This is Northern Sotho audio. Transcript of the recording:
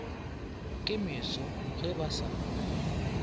ke meso ge ba sa